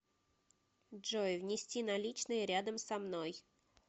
джой внести наличные рядом со мной